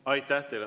Aitäh teile!